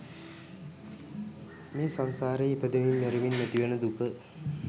මේ සංසාරේ ඉපදෙමින් මැරෙමින් ඇතිවන දුක